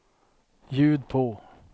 ljud på